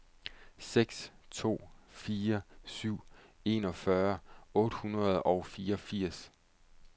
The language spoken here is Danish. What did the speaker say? seks to fire syv enogfyrre otte hundrede og fireogfirs